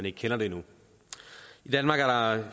ikke kender det endnu i danmark